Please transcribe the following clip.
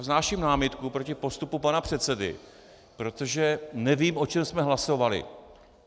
Vznáším námitku proti postupu pana předsedy, protože nevím, o čem jsme hlasovali.